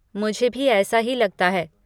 मुझे भी ऐसा ही लगता है।